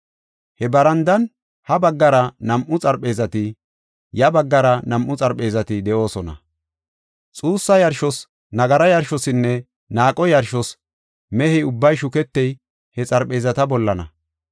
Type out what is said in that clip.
He barandan ha baggara nam7u xarpheezati, ya baggara nam7u xarpheezati de7oosona; xuussa yarshos, nagara yarshosinne naaqo yarshos mehe ubbay shuketiya he xarpheezata bollana.